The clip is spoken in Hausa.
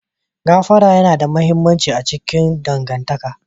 Gafara yana da mahimmanci a cikin dangantaka.